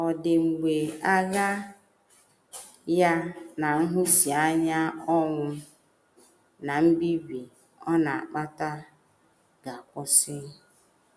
Ọ̀ dị mgbe agha ya na nhụsianya, ọnwụ, na mbibi ọ na - akpata ga - akwụsị?